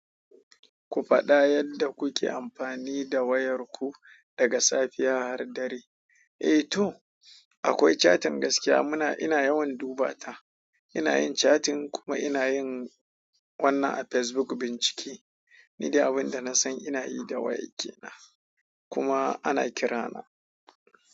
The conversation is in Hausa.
Ku faɗa yadda kuke amfani da wayar ku daga safiya har dare. Eh to, akwai catin gaskiya muna, ina yawan duba ta. Ina yin catin kuma inayin wannan a Facebook bincike. Ni dai abin da na san ina yi da wayar ke nan kuma ana kira na.